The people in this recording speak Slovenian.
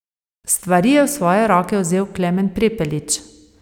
Stvari je v svoje roke vzel Klemen Prepelič.